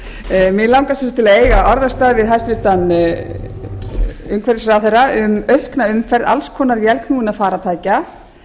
bensínfnykur mig langar til að eiga orðastað við hæstvirtur umhverfisráðherra um aukna umferð alls konar vélknúinna farartækja